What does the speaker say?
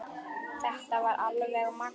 Þetta var alveg magnað!